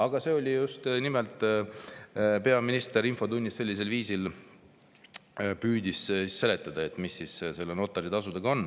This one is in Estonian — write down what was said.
Aga see oli just nimelt peaminister, kes infotunnis sellisel viisil püüdis seletada, mis siis notaritasudega on.